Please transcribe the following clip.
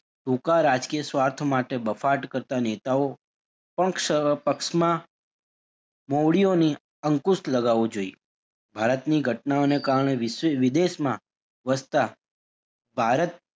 ટુંકા રાજકીય સ્વાર્થ માટે બફાટ કરતાં નેતાઓ પણ પક્ષમાં ગોળીઓને અંકુશ લગાવું જોઈએ ભારતની ઘટનાઓને કારણે વિ~વિદેશમાં વસતા ભારત,